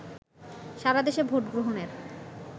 সারাদেশে ভোটগ্রহণের